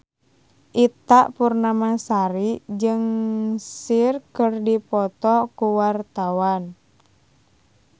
Ita Purnamasari jeung Cher keur dipoto ku wartawan